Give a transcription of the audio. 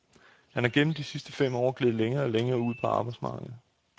Han er gennem de sidste fem år gledet længere og længere ud af arbejdsmarkedet.